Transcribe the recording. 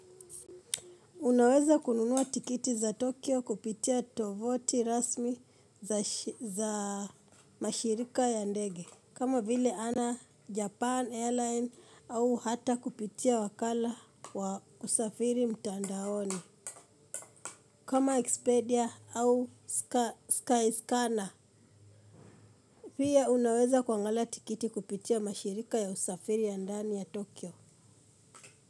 Unaweza kununua tiketi za Tokyo kupitia tovuti rasmi za mashirika ya ndege. Kam vile Japan airline au hata kupitia wakala wa kusafiri mtandaoni kama Expedia au Skyscanner. Pia unaweza kuangala tiketi kupitia mashirika ya usafiri ya ndani ya Tokyo.